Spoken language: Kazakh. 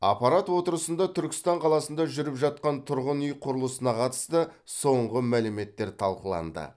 аппарат отырысында түркістан қаласында жүріп жатқан тұрғын үй құрылысына қатысты соңғы мәліметтер талқыланды